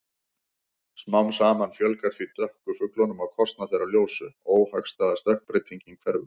Smám saman fjölgar því dökku fuglunum á kostnað þeirra ljósu- óhagstæða stökkbreytingin hverfur.